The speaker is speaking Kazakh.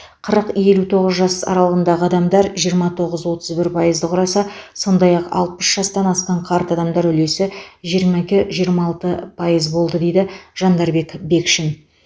қырық елу тоғыз жас аралығындағы адамдар жиырма тоғыз отыз бір пайызды құраса сондай ақ алпыс жастан асқан қарт адамдар үлесі жиырма екі жиырма алты пайыз болды дейді жандарбек бекшин